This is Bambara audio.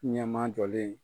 Ɲɛman jɔlen.